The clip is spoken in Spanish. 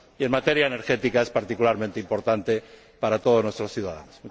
Y en materia energética, es particularmente importante para todos nuestros ciudadanos.